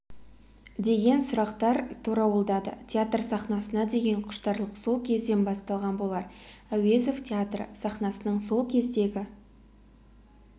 деген сұрақтар торауылдады театр сахнасына деген құштарлық сол кезден басталған болар әуезов театры сахнасының сол кездегі